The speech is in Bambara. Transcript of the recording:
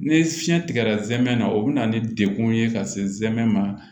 Ni fiɲɛ tigɛra zɛmɛ na o be na ni degun ye ka se zɛmɛ ma